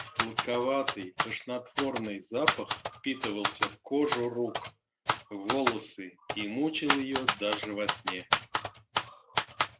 сладковатый тошнотворный запах впитывался в кожу рук в волосы и мучил её даже во сне